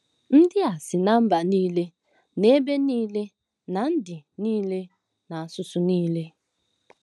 Ndị a “si ná mba niile na ebo niile na ndị niile na asụsụ niile.